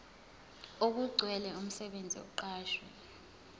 okugcwele umsebenzi oqashwe